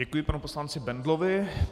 Děkuji panu poslanci Bendlovi.